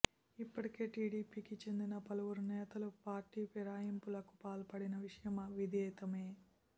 ఇప్పటికే టీడీపీ కి చెందిన పలువురు నేతలు పార్టీ ఫిరాయింపులకు పాల్పడిన విషయం విదితమే